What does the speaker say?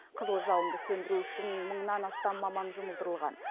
қызыл жалынды сөндіру үшін мыңнан астам маман жұмылдырылған